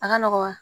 A ka nɔgɔn wa